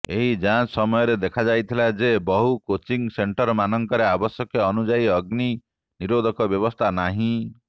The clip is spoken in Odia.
ଏହି ଯାଞ୍ଚ ସମୟରେ ଦେଖାଯାଇଥିଲା ଯେ ବହୁ କୋଚିଙ୍ଗ ସେଣ୍ଟରମାନଙ୍କରେ ଆବଶ୍ୟକ ଅନୁଯାୟୀ ଅଗ୍ନି ନିରୋଧକ ବ୍ୟବସ୍ଥା ନାହିଁ